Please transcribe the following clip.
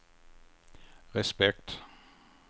respekt